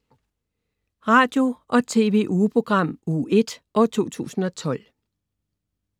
Radio- og TV-ugeprogram Uge 1, 2012